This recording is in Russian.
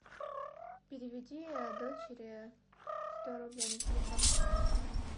переведи дочери сто рублей на телефон